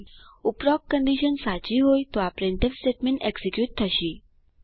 ઉપરોક્ત કન્ડીશન સાચી હોય તો આ પ્રિન્ટફ સ્ટેટમેન્ટ એક્ઝીક્યુટ થશે